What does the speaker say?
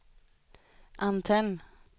antenn